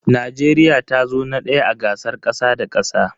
Najeriya tazo na daya a gasar kasa da kasa.